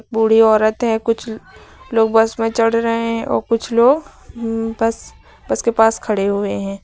बूढी औरत है कुछ लोग बस में चढ़ रहें है और कुछ लोग उम्म बस बस के पास खड़े हुए हैं।